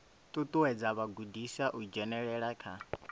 ṱuṱuwedza vhagudiswa u dzhenelela kha